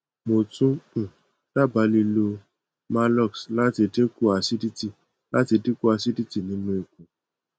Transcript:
mo tun um daba lilo maalox lati dinku acidity lati dinku acidity ninu ikun